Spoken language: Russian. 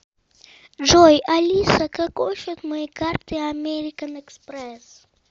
джой алиса какой счет моей карты американ экспресс